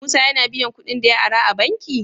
Musa yAna biyan kuɗin da ya ara a banki?